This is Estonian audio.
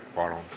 Palun!